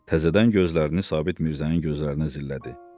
Təzədən gözlərini Sabit Mirzənin gözlərinə zillədi.